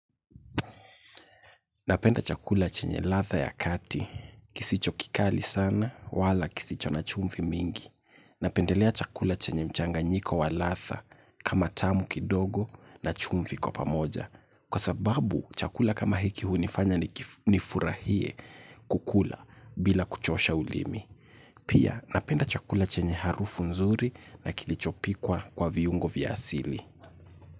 Napenda chakula chenye ladha ya kati. Kisicho kikali sana wala kisicho na chumvi mingi. Napendelea chakula chenye mchanganyiko wa ladha kama tamu kidogo na chumvi kwa pamoja. Kwa sababu chakula kama hiki hunifanya nifurahie kukula bila kuchosha ulimi. Pia napenda chakula chenye harufu nzuri na kilichopikwa kwa viungo vya asili.